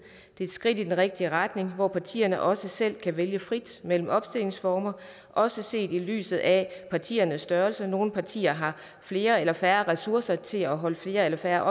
det er skridt i den rigtige retning hvor partierne også selv kan vælge frit mellem opstillingsformer også set i lyset af partiernes størrelse nogle partier har flere eller færre ressourcer til at holde flere eller færre